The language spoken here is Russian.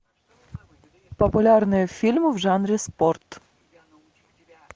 популярные фильмы в жанре спорт